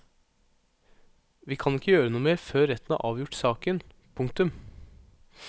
Vi kan ikke gjøre noe mer før retten har avgjort saken. punktum